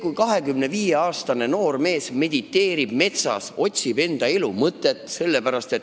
Näide: 25-aastane noor mees mediteerib metsas, otsib enda elu mõtet.